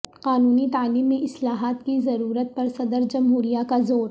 قانونی تعلیم میں اصلاحات کی ضرورت پر صدر جمہوریہ کا زور